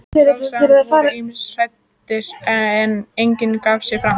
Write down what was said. Sjálfsagt voru ýmsir hræddir, en enginn gaf sig fram.